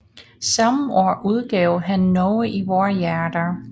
Samme år udgav han Norge i vore hjerter